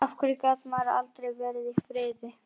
Enda engan áhuga haft á því.